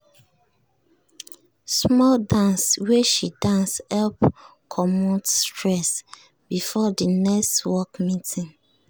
small dance wey she dance help commot stress before de next work meeting.